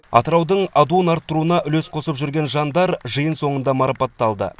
атыраудың адуын арттыруына үлес қосып жүрген жандар жиын соңында марапатталды